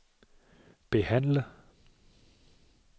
behandle